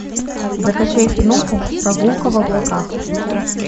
закачай киноху прогулка в облаках